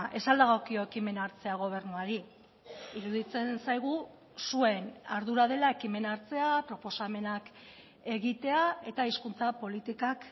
ez al dagokio ekimena hartzea gobernuari iruditzen zaigu zuen ardura dela ekimena hartzea proposamenak egitea eta hizkuntza politikak